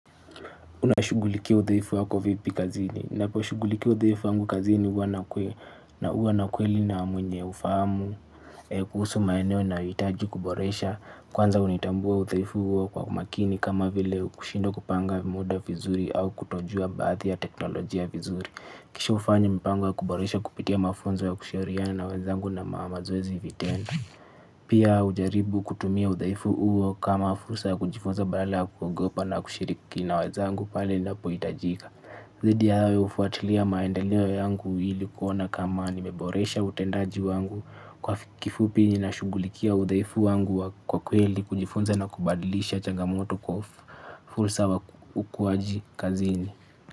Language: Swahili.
Unashugulikia uthaifu wako vipi kazini, nnapo shugulikia uthaifu wangu kazini uwa na kwe na uwa na kweli na mwenye ufaamu, kuhusu maeneo nayoitaji kuboresha, kwanza unitambua uthaifu uo kwa umakini kama vile kushindwa kupanga muda vizuri au kutojua mbaadhi ya teknolojia vizuri. Kisha ufanyi mpango ya kuboresha kupitia mafunzo ya kushiriyani na waezangu na maamazwezi vitenda. Pia ujaribu kutumia udhaifu uo kama fursa ya kujifunza bala ya kuogopa na kushiriki na waezangu pale nnapo itajika. Zidi ya hayo ufuatilia maendeo yangu hili kuona kama nimeboresha utendaji wangu kwa kifupi ninashungulikia udhaifu wangu kwa kweli kujifunza na kubadilisha changamoto kwa fursa wa ukuwaji kazini.